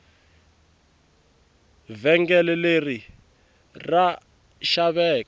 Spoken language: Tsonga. vhengele leri ra xaveka